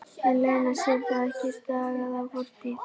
En Lena sér það ekki, stagast á fortíð.